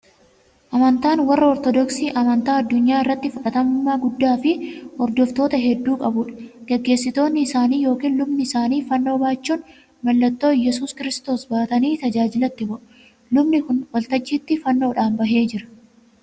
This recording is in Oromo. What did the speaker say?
Amantaan warra Ortoodoksii amantaa addunyaa irratti fudhatamummaa guddaa fi hordoftoota hedduu qabudha. Gaggeessitoonni isaanii yookiin lubni isaanii fannoo baachuun mallattoo yesuus Kiristoos baatanii tajaajilatti bahu. Lubni kun waltajjiitti fannoodhaan bahee jira.